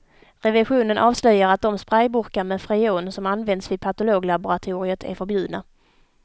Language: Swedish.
Revisionen avslöjar att de sprayburkar med freon som använts vid patologlaboratoriet är förbjudna.